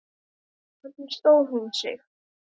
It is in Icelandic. Lóa: Hvernig stóð hún sig?